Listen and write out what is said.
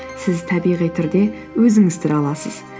сіз табиғи түрде өзіңіз тұра аласыз